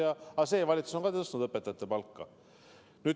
Aga ka praegune valitsus on tõstnud õpetajate palka.